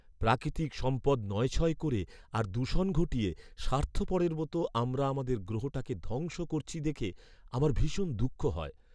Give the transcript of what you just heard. প্রাকৃতিক সম্পদ নয়ছয় করে আর দূষণ ঘটিয়ে স্বার্থপরের মতো আমরা আমাদের গ্রহটাকে ধ্বংস করছি দেখে আমার ভীষণ দুঃখ হয়।